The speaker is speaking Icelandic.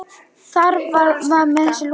Þar með var þessu lokið.